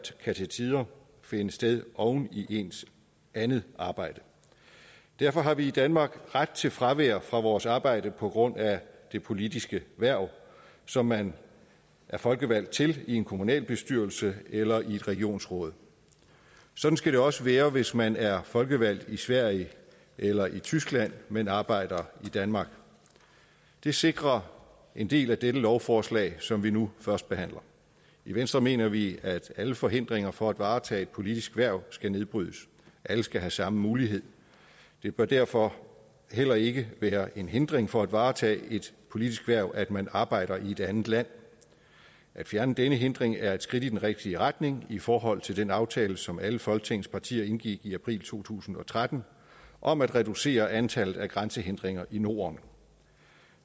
kan til tider finde sted oven i ens andet arbejde derfor har vi i danmark ret til fravær fra vores arbejde på grund af det politiske hverv som man er folkevalgt til i en kommunalbestyrelse eller et regionsråd sådan skal det også være hvis man er folkevalgt i sverige eller i tyskland men arbejder i danmark det sikrer en del af dette lovforslag som vi nu førstebehandler i venstre mener vi at alle forhindringer for at varetage et politisk hverv skal nedbrydes alle skal have samme mulighed det bør derfor heller ikke være en hindring for at varetage et politisk hverv at man arbejder i et andet land at fjerne denne hindring er et skridt i den rigtige retning i forhold til den aftale som alle folketingets partier indgik i april to tusind og tretten om at reducere antallet af grænsehindringer i norden